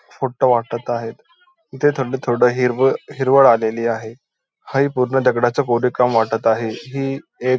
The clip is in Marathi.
फोटो वाटत आहे इथे थोडं थोडं हिरवळ आलेली आहे हा ही पूर्ण दगडाचा रिकामा वाटत आहे ही एक.